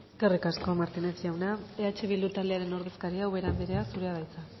eskerrik asko martinez jauna eh bildu taldearen ordezkaria ubera andrea zurea da hitza